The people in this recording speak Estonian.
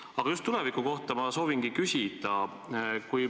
Aga just tuleviku kohta ma soovingi küsida.